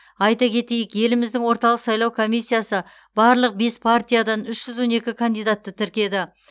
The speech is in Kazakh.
айта кетейік еліміздің орталық сайлау комиссиясы барлық бес партиядан үш жүз он екң кандидатты тіркеді